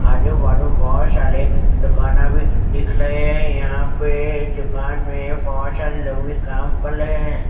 आजू बाजू बहोत साले दुकाना भी दिख लहे हैं यहां पे दुकान में बहोत सारे लोग भी काम कल लहे हैं।